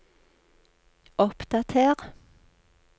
oppdater